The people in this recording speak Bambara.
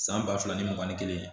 San ba fila ni mugan ni kelen